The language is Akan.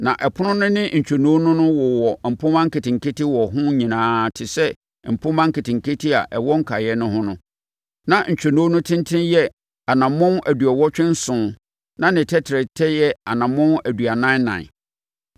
Na ɛpono no ne ntwonoo no ho wowɔ mpomma nketenkete wɔ ho nyinaa te sɛ mpomma nketenkete a ɛwɔ nkaeɛ no ho no. Na ntwonoo no tentene yɛ anammɔn aduɔwɔtwe nson na ne tɛtrɛtɛ yɛ anammɔn aduanan ɛnan.